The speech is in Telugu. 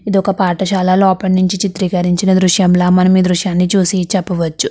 ఇదొక పాఠశాల లోపట్నుంచి చిత్రీకరించిన దృశ్యంలా మనమి ఈ దృశ్యాన్ని చూసి చెప్పవచ్చు.